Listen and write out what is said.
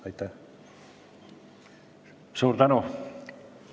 Suur tänu!